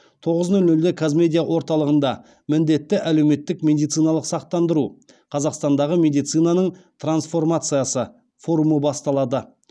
тоғыз нөл нөлде қазмедиа орталығында міндетті әлеуметтік медициналық сақтандыру қазақстандағы медицинаның трансформациясы форумы басталады